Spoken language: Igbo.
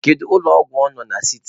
Kedu ụlọ ọgwụ ọ na siti?